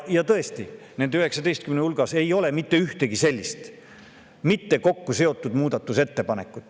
Tõesti, nende 19 hulgas ei ole mitte ühtegi sellist muudatusettepanekut!